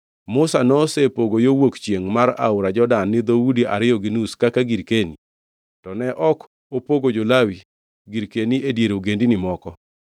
Musa nosepogo yo wuok chiengʼ mar aora Jordan ni dhoudi ariyo gi nus kaka girkeni, to ne ok opogo jo-Lawi girkeni e dier ogendini moko,